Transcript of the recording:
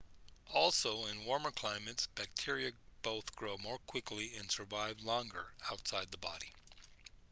also in warmer climates bacteria both grow more quickly and survive longer outside the body